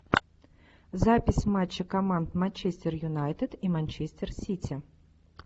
запись матча команд манчестер юнайтед и манчестер сити